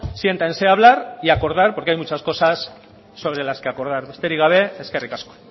siéntanse a hablar y acordar porque hay muchas cosas sobre las que acordar besterik gabe eskerrik asko